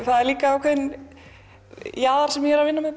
er líka ákveðinn jaðar sem ég er að vinna með